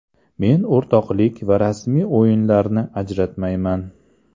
Men o‘rtoqlik va rasmiy o‘yinlarni ajratmayman.